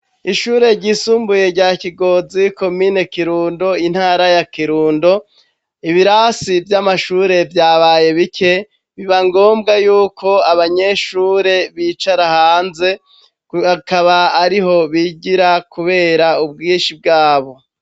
Ishure ryisumbuye rya Kigozi komine Kirundo intara ya Kirundo ibirasi vy'amashure vyabaye bike biba ngombwa yuko abanyeshure bicara hanze akaba ariho bigira kubera ubwishi bwabo.